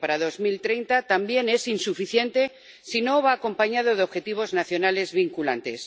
para 2030 también es insuficiente si no va acompañado de objetivos nacionales vinculantes.